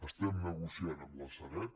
estem negociant amb la sareb